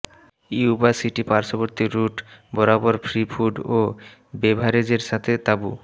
Yuba City পার্শ্ববর্তী route বরাবর free food ও বেভারেজের সাথে তাঁবু